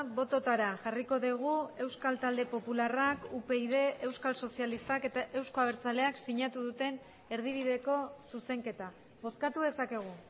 bototara jarriko dugu euskal talde popularrak upyd euskal sozialistak eta euzko abertzaleak sinatu duten erdibideko zuzenketa bozkatu dezakegu